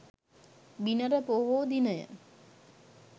බිනර පොහෝ දිනය